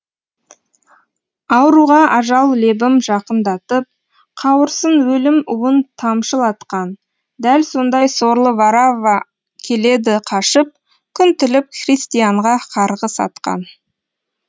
ауруға ажал лебім жақындатып қауырсын өлім уын тамшылатқан дәл сондай сорлы варавва келеді қашып күн тілеп христианға қарғыс атқан